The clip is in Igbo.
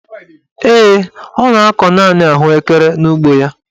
Ee, ọ na-akọ naanị ahụekere n'ugbo ya.